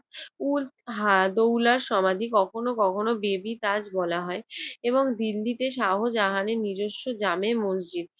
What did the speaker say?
উদ্দৌলা সমাধি কখনো কখনো বেবি তাজ বলা হয় এবং দিল্লি তে শাহজাহানের নিজস্ব জামে মসজিদ